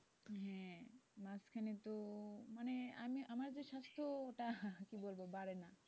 হ্যাঁ মাঝখানে তোমানে আমাদের স্বাস্থ্য স্বাস্থ্যটা মানে কি বলবো বারেনা,